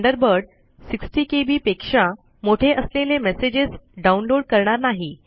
Thunderbird 60केबी पेक्षा मोठे असलेले मेसेजेस डाउनलोड करणार नाही